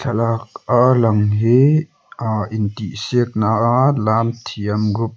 thlalak a lang hi ahh intihsiakna a lam thiam group --